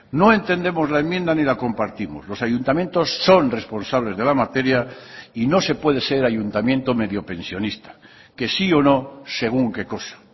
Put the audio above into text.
no entendemos la enmienda ni la compartimos los ayuntamientos son responsables de la materia y no se puede ser ayuntamiento medio pensionista que sí o no según qué cosa